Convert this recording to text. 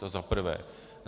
To za prvé.